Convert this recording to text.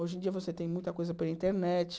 Hoje em dia você tem muita coisa pela internet.